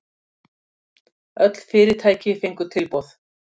Öll fyrirtæki fengu tilboð